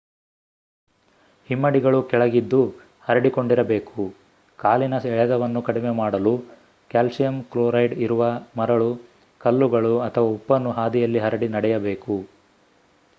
ಹಿಮ್ಮಡಿಗಳು ಕೆಳಗಿದ್ದು ಹರಡಿಕೊಂಡಿರಬೇಕು ಕಾಲಿನ ಎಳೆತವನ್ನು ಕಡಿಮೆ ಮಾಡಲು ಕ್ಯಾಲ್ಸಿಯಂ ಕ್ಲೋರೈಡ್ ಇರುವ ಮರಳು ಕಲ್ಲುಗಳು ಅಥವಾ ಉಪ್ಪನ್ನು ಹಾದಿಯಲ್ಲಿ ಹರಡಿ ನಡೆಯಬೇಕು